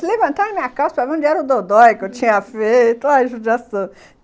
Ele levantava a minha calça para ver onde era o dodói que eu tinha feito, olha a judiação...